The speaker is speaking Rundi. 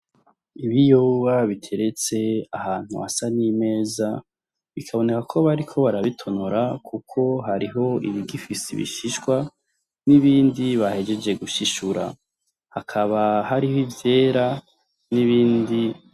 Ibiyoba biteretse ahantu hasa n’imeza, bikaboneka ko bariko barabitonora Kuko hariho ibigifise ibishishwa n’ibindi bahejeje gushishura, hakaba hariho ivyera n’ibindi